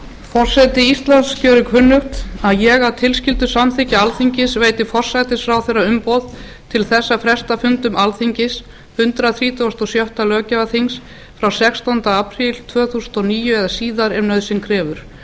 forseti íslands gerir kunnugt að ég að tilskildu samþykki alþingis veiti forsætisráðherra umboð til þess að fresta fundum alþingis hundrað þrítugasta og sjötta löggjafarþings frá sextánda apríl tvö þúsund og níu eða síðar ef nauðsyn krefur